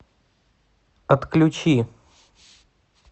отключи